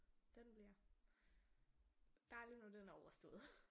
Den bliver dejligt når den er overstået